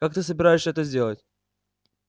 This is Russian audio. как ты собираешься это сделать